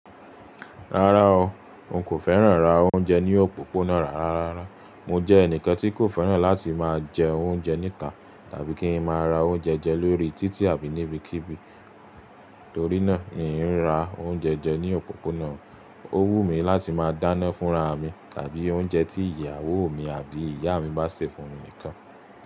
Rárá o, n kò fẹ́ràn rà oúnjẹ ní òpópónà rárá. Mo jẹ́ ẹnìkan tí kò fẹ́ràn láti máa jẹ oúnjẹ níta tàbí kí n máa ra oúnjẹ jẹ lórí títì àbí níbikíbi, torínà ì ń ra oúnjẹ jẹ ní òpópónà. Ó wù mí láti máa dáná fúnra mi tàbí oúnjẹ tí ìyàwó mi àbí ìyá mi bá sè fún mi nìkan.